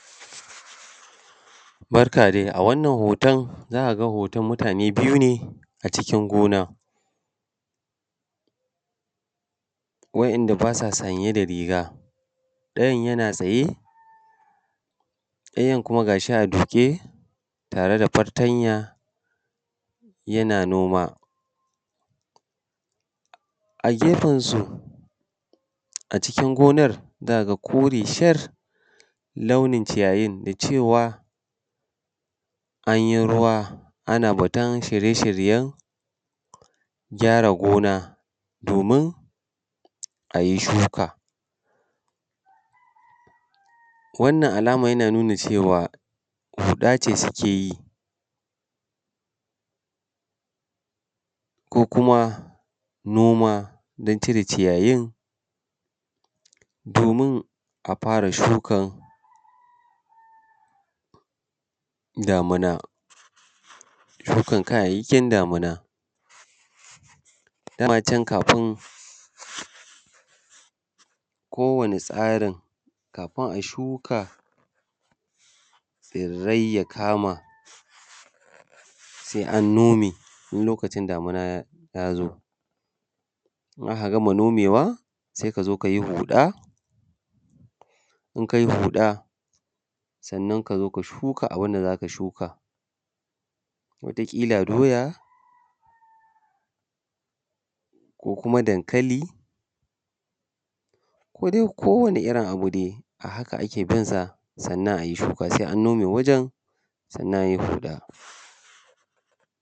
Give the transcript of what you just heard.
Barka dai, a wannan hoto za ka ga hoton mutane biyu ne a cikin gona wa'inda ba sa sanye da riga. Ɗayan yana tsaye, ɗayan kuma ga shi a duƙe tare da fatanya yana noma. A gefan su a cikin gonar za ka ga kore shar launin ciyayin da cewa an yi ruwa ana batun shirye shiryen gyara gona domin a yi shuka. Wannan alama yana nuna cewa huɗa ce suke yi, ko kuma noma don cire ciyayin domin a fara shukan damuna. Shukan kayayyakin damuna, dama can kafin ko wani tsarin kafin a shuka tsirrai ya kama sai an nome in lokacin damuna ya zo, in aka gama nomewa sai a zo a yi huɗa, in kai huɗa sannan ka zo ka shuka abun da za ka shuka. Wata ƙila doya ko kuma dankali ko dai kowane irin abu dai. A haka ake binsa sannan a yi shuka sai an nome wajan, sannan a yi huɗa.